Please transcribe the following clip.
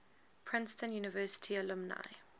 princeton university alumni